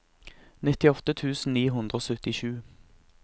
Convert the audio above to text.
nittiåtte tusen ni hundre og syttisju